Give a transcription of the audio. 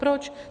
Proč?